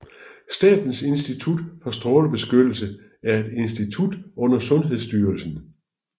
Statens Institut for Strålebeskyttelse er et institut under Sundhedsstyrelsen